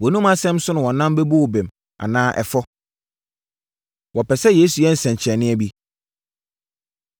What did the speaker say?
Wʼanomu asɛm so na wɔnam bɛbu wo bem anaa ɛfɔ”. Wɔpɛ Sɛ Yesu Yɛ Nsɛnkyerɛnneɛ Bi